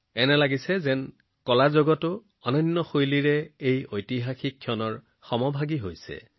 এনে লাগে যেন শিল্পই এই ঐতিহাসিক মুহূৰ্তৰ সৈতে কালজয়ী শৈলীৰ জৰিয়তে সহযোগিতা আগবঢ়াইছে